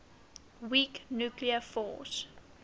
weak nuclear force